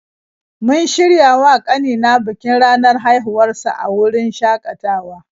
Mun shirya wa ƙanina bikin ranar haihuwar sa a wurin shakatawa.